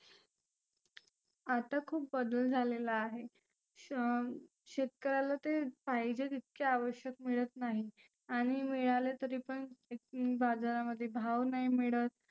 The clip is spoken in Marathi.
आता खुप बदल झालेला आहे. श शेतकऱ्याला ते पाहिजे तितक्या आवश्यक मिळत नाहीत. आणि मिळाले तरी पण बाजारामध्ये भाव नाही मिळत.